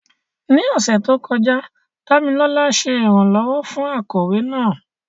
Ní ọ̀sẹ̀ tó kọjá, Dámilọ́lá ṣe ìrànlọ́wọ́ fún akọ̀wé náà.